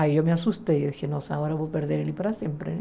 Aí eu me assustei, eu disse, nossa, agora eu vou perder ele para sempre.